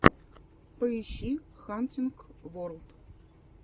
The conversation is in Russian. поищи хантинг ворлд